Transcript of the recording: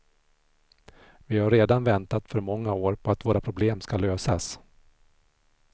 Vi har redan väntat för många år på att våra problem skall lösas.